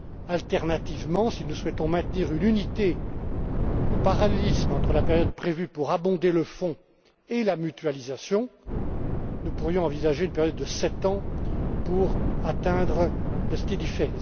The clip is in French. Alternativement, si nous souhaitons maintenir une unité et un parallélisme entre la période prévue pour alimenter le fonds et la mutualisation, nous pourrions envisager une période de sept ans pour atteindre la stabilité.